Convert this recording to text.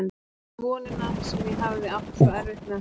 Ég fann vonina sem ég hafði átt svo erfitt með að halda í.